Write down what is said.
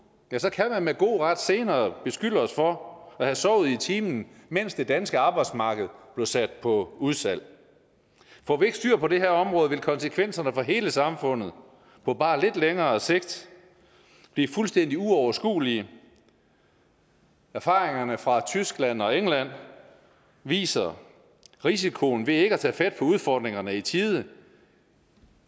kan man med god ret senere beskylde os for at have sovet i timen mens det danske arbejdsmarked blev sat på udsalg får vi ikke styr på det her område vil konsekvenserne for hele samfundet på bare lidt længere sigt blive fuldstændig uoverskuelige erfaringerne fra tyskland og england viser risikoen ved ikke at tage fat på udfordringerne i tide